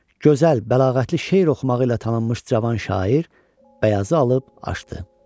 Gözəl, bəlağətli şeir oxumağı ilə tanınmış cavan şair bəyazı alıb açdı.